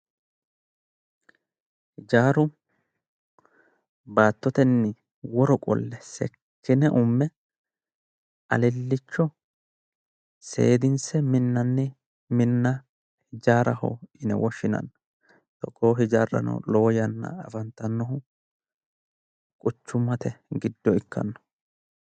Hijaaru baattotenni woro qolle seekkine umme alilicho seedinse minanni minna hijaaraho yinne woshshinanni, togoo hijaarano afantanohu quchummate giddo ikkano